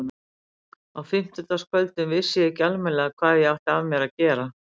Á fimmtudagskvöldum vissi ég ekki almennilega hvað ég átti að gera af mér.